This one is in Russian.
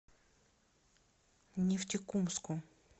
нефтекумску